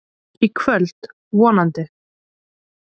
Í kvöld, vonandi.